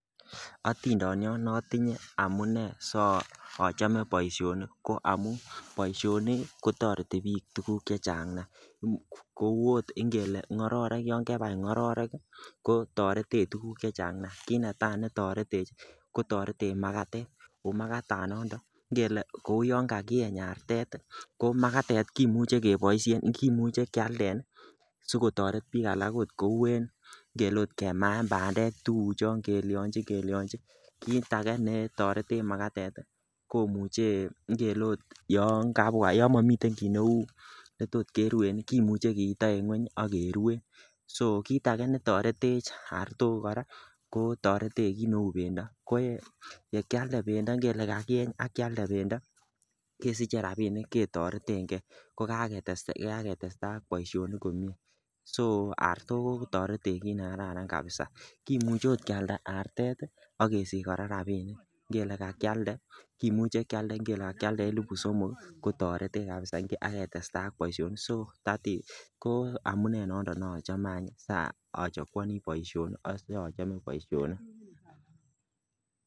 Otindoniot notinye amun amune so chome boisionik ko amun boisionik ko toreti biik tuguk che Chang nia kouu ot ngororek yan kebai ngororek kotoretech tuguk chechang nia. Kit netaa me toretech ii ko toretech makatet oo makatanondon ngelee kouu yan kakieny artetet ii ko makatet kimuche keboishen kimuche kyalden ii sigotoret biik alak okot kouu en ngelee ot kemaen bandek tuguchon kelyochin kelyochin kit age ne toretech makatet komuche ngelee ot yon kabwa yon momiten kii ne uu netot keruen ii kimuche kiito en kweny ak keruen. So kit age ne toretech artok koraa ko toretech kit ne uu bendo ye kyalde bendo ngelee kakieny ak kyalde bendo kesiche rabinik che toreten gee ko kaketestai ak boisionik komie so artuk ko toretech kit ne kararan kabisa. Kimuche ot kyalda artet ii ak kesich koraa rabinik ngelee ka kyalde kimuche kyanden ngelee elipu somok ko toretech kabisa ak katestai ak boisionik so amune nondon sa achongwon achome boisionik